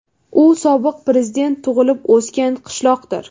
U sobiq prezident tug‘ilib-o‘sgan qishloqdir.